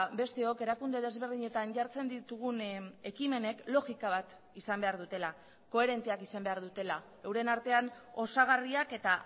besteok erakunde desberdinetan jartzen ditugun ekimenek logika bat izan behar dutela koherenteak izan behar dutela euren artean osagarriak eta